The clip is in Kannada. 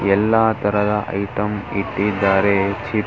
ಎಲ್ಲಾ ತರದ್ ಐಟಂ ಇಟ್ಟಿದ್ದಾರೆ ಚಿಪ್ಸ್ --